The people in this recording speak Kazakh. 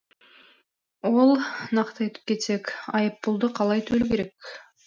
ол нақты айтып кетсек айыппұлды қалай төлеу керек